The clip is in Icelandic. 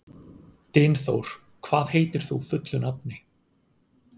Dynþór, hvað heitir þú fullu nafni?